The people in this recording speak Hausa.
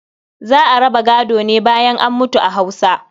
Za a raba gado ne bayan an mutu a Hausa.